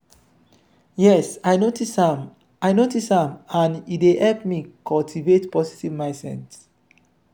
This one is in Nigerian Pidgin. yes i notice am i notice am and e dey help me cultivate positve mindset.